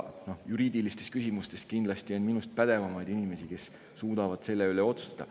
Juriidilistes küsimustes on kindlasti minust pädevamaid inimesi, kes suudavad selle üle otsustada.